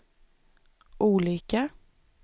olika